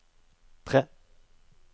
tre